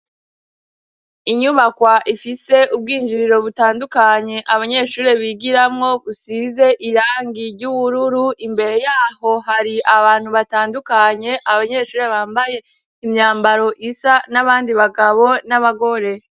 Inyubakwa ifite ubwinjiriro butandukanye abanyeshuri bigiramwo busize irangi ry'ubururu, imbere yaho hari abantu batandukanye, abanyeshuri bambaye imyambaro isa n'abandi bagabo n'abagore.